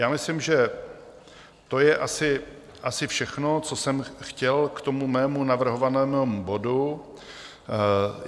Já myslím, že to je asi všechno, co jsem chtěl k tomu mému navrhovanému bodu.